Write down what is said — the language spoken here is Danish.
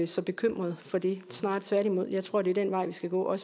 så bekymret for det snarere tværtimod for jeg tror det er den vej vi skal gå